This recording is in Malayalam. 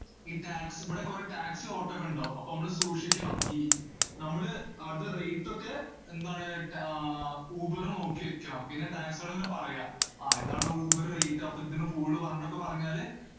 ഈ tax~ ഇവിടെ കൊറേ taxi auto ഒക്കെ ഇണ്ടാവും. അപ്പോ നമ്മള് സൂക്ഷിക്കണം, ഈ നമ്മള് അത് rate ഒക്കെ എന്താണ് റ്റാ~ ആഹ് ഊബർല് നോക്കിവെക്കണം. പിന്നെ taxi കാരന്റോടിങ്ങനെ പറയ്യ, ആ ഇതാണ് ഊബർ rate അപ്പൊ ഇതിന് കൂടുതല് പറഞ്ഞിട്ടൊക്കെ പറഞ്ഞാല്